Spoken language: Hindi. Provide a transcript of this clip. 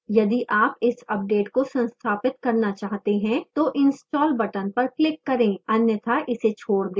यदि आप इस अपडेट को संस्थापित करना चाहते हैं तो install button पर click करें अन्यथा इसे छोड़ दें